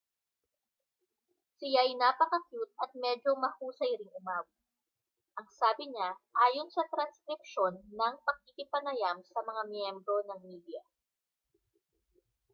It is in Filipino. siya'y napakakyut at medyo mahusay ring umawit ang sabi niya ayon sa transkripsyon ng pakikipanayam sa mga miyembro ng media